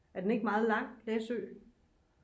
er den ikke meget lang læsø